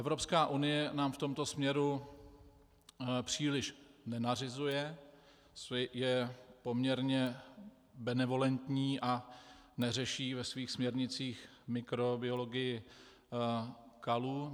Evropská unie nám v tomto směru příliš nenařizuje, je poměrně benevolentní a neřeší ve svých směrnicích mikrobiologii kalů.